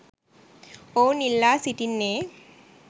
ඔවුන් ඉල්ලා සිටින්නේ